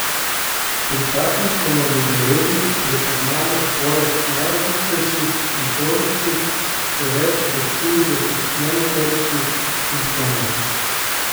Pri parkinsonovi bolezni prepoznamo poleg najočitnejših motoričnih še več kot štirideset nemotoričnih simptomov.